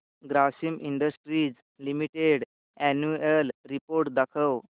Grasim Industries Limited annual report दाखव